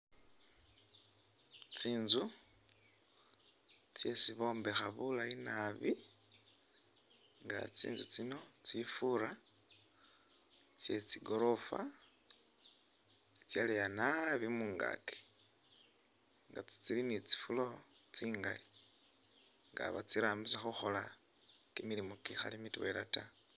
Tsinzu tsisi bombekha bulayi naabi nga tsinzu tsino tsifura tsye tsigorofa tsi tsyaleya naabi mungaki nga tsili ni tsi floor tsingali nga batsirambisa kimilimo kikhali mitwela ta